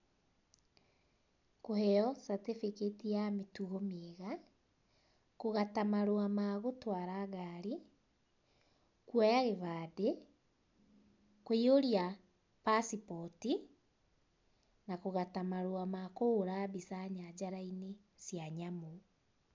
Kῦheo certificate ya mῖtugo mῖega, kῦgata marῦa ma gῦtwara ngari, kῦoya gῖbandῖ, kῦiyῦria passport na kῦgata marῦa ma kῦhῦra mbica nyanjara-inῖ cῖa nyamῦ.